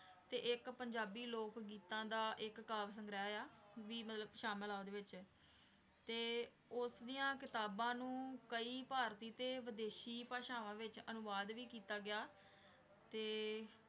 ਤੇ ਇੱਕ ਪੰਜਾਬੀ ਲੋਕ ਗੀਤਾਂ ਦਾ ਇੱਕ ਕਾਵਿ ਸੰਗ੍ਰਹਿ ਆ, ਵੀ ਮਤਲਬ ਸ਼ਾਮਿਲ ਆ ਉਹਦੇ ਵਿੱਚ, ਤੇ ਉਸਦੀਆਂ ਕਿਤਾਬਾਂ ਨੂੰ ਕਈ ਭਾਰਤੀ ਤੇ ਵਿਦੇਸ਼ੀ ਭਾਸ਼ਾਵਾਂ ਵਿੱਚ ਅਨੁਵਾਦ ਵੀ ਕੀਤਾ ਗਿਆ, ਤੇ